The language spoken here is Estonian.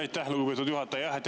Aitäh, lugupeetud juhataja!